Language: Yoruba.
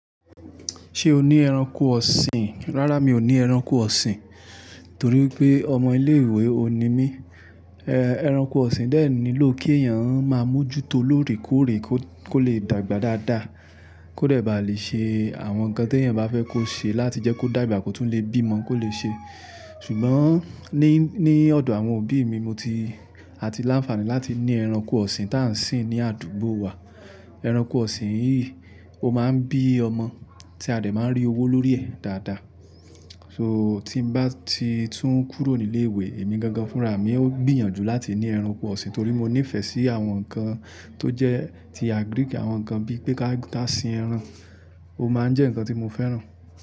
Ṣé o ní ẹranko ọ̀sìn? Rárá mi ò ní ẹranko ọ̀sìn torí pé ọmọ ilé ìwé òní mí. Eh ẹranko ọ̀sìn dé nílò kí èèyàn má mú jú tó lóòrèkóòrè kó, kó le dàgbà dáadáa, kó dẹ̀ bá lè ṣe àwọn nǹkan tí èèyàn bá fẹ́ kó ṣe láti jẹ́ kó dàgbà kó tún lè bí ọmọ kó lè ṣe. Ṣùgbọ́n ní, ní ọ̀dọ̀ àwọn òbí mi mo ti, a ti láǹfààní láti ní ẹranko ọ̀sìn tá ń sìn ní àdúgbò wa. Ẹranko ọ̀sìn yìí ó má ń bí ọmọ tí a dè má ń rí owó lórí ẹ̀ dáadáa. So tí ń bá ti tún kúrò ní ilé ìwé èmi gangan fúnra mi ó gbìyànjú láti ní ẹranko ọ̀sìn torí mo nífẹ̀ẹ́ sí àwọn nǹkan tó jẹ́ ti àgíríkì. Àwọn nǹkan bíi pé ká, ká sìn ẹran, ó má ń jẹ́ nǹkan tí mo fẹ́ràn.